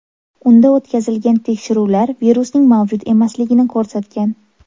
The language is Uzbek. Unda o‘tkazilgan tekshiruvlar virusning mavjud emasligini ko‘rsatgan.